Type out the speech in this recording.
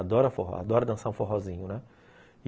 Adora forró, adora dançar um forrozinho, né?